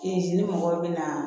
ni mɔgɔw bɛ na